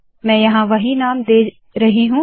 मैं यहाँ वही नाम दे रही हूँ